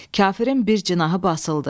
Kafirin bir cinahı basıldı.